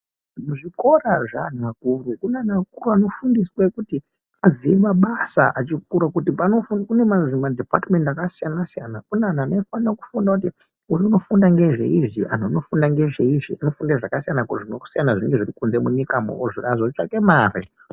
Zvikora zveantu akuru zvinodzidzisa antu kuti azive mabasa achikura ngokuti kune madhipatimendi akasiyana siyana . Kune anofunda ngezveizvi vamweni izvi nokuti munyika mwune zvakasiyana siyana kuti titsvake mari.